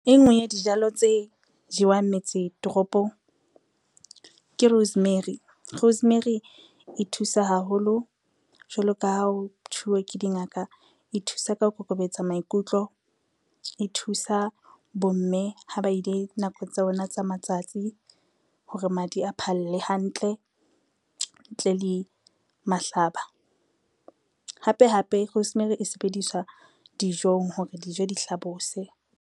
E ngwe ya dijalo tse jewang metse toropong, ke rosemary. Rosemary e thusa haholo jwalo ka ha ho thuwa ke dingaka. E thusa ka ho kokobetsa maikutlo, e thusa bomme ha ba ile nakong tsa bona tsa matsatsi hore madi a phalle hantle ntle le mahlaba. Hape hape, rosemary e sebediswa dijong hore dijo di hlabose.